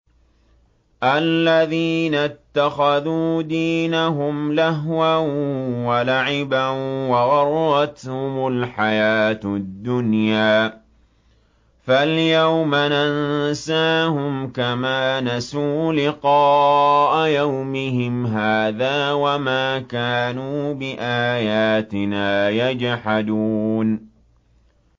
الَّذِينَ اتَّخَذُوا دِينَهُمْ لَهْوًا وَلَعِبًا وَغَرَّتْهُمُ الْحَيَاةُ الدُّنْيَا ۚ فَالْيَوْمَ نَنسَاهُمْ كَمَا نَسُوا لِقَاءَ يَوْمِهِمْ هَٰذَا وَمَا كَانُوا بِآيَاتِنَا يَجْحَدُونَ